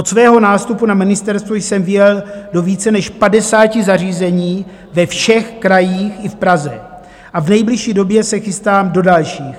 Od svého nástupu na ministerstvu jsem vyjel do více než 50 zařízení ve všech krajích i v Praze a v nejbližší době se chystám do dalších.